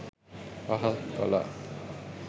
අහක් කළා.